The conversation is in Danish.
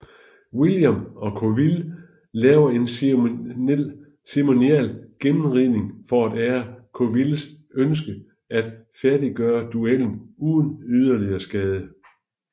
William og Colville laver en ceremonial gennemridning for at ære Colvilles ønske at færddiggøre duellen uden yderligere skade